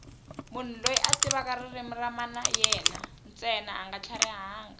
munhu loyi a tivaka ririmi ra mana yena ntsena anga tlharihangi